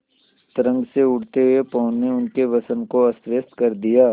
तरंग से उठते हुए पवन ने उनके वसन को अस्तव्यस्त कर दिया